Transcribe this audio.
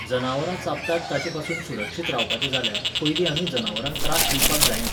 जनावरां चाबतात ताचेपसून सुरक्षीत रावपाचें जाल्यार, पयलीं आमी जनावरांक त्रास दिवपाक जायना.